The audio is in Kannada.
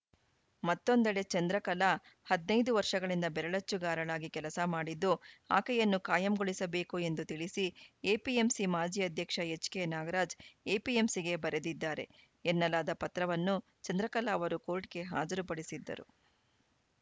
ಮತ್ತೊಂದೆಡೆ ಚಂದ್ರಕಲಾ ಹದಿನೈದು ವರ್ಷಗಳಿಂದ ಬೆರಳಚ್ಚುಗಾರಳಾಗಿ ಕೆಲಸ ಮಾಡಿದ್ದು ಆಕೆಯನ್ನು ಕಾಯಂಗೊಳಿಸಬೇಕು ಎಂದು ತಿಳಿಸಿ ಎಪಿಎಂಸಿ ಮಾಜಿ ಅಧ್ಯಕ್ಷ ಎಚ್‌ಕೆನಾಗರಾಜ್‌ ಎಪಿಎಂಸಿಗೆ ಬರೆದಿದ್ದಾರೆ ಎನ್ನಲಾದ ಪತ್ರವನ್ನು ಚಂದ್ರಕಲಾ ಅವರು ಕೋರ್ಟ್‌ಗೆ ಹಾಜರುಪಡಿಸಿದ್ದರು